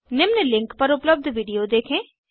निम्न लिंक पर उपलबध वीडियो देखें